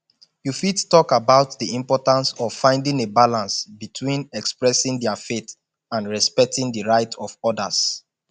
you fit talk about di importance of finding a balance between expressing dia faith and respecting di rights of odas